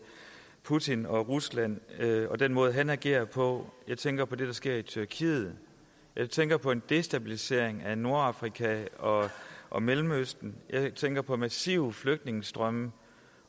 putin og rusland og den måde han agerer på jeg tænker på det der sker i tyrkiet jeg tænker på en destabilisering af nordafrika og og mellemøsten og jeg tænker på massive flygtningestrømme